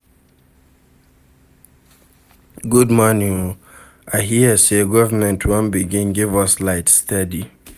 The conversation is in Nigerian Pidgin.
Good morning o, I hear sey government wan begin give us light steady.